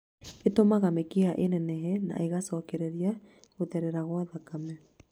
Ĩtũmaga mĩkiha ĩnenehe na ĩgacokereria gũtherera gwa thakame